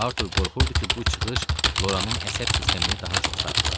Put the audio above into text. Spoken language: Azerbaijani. Artur qorxurdu ki, bu çıxış Loranın əsəb sistemini daha çox sarsıdar.